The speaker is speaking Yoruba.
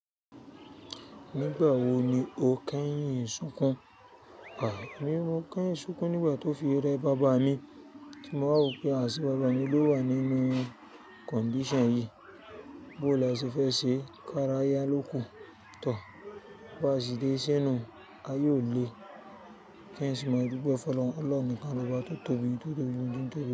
Nígbà wo ni o kẹ́yìn ìsìnkú? Àìní, mo kẹ́yìn ìsìnkú nígbà tó fi rẹ baba mi, tí mo wa wopé à se baba mi ló wà nínú condition yìí. Bóò láse fe ṣe kára yá ló kùn tó, bó à sì dé sínú ayòlé, kí ẹ sì mọ̀ wípé Ọlọ́run nikan ló bá tó tóbi ju ohun tí ń tóbi.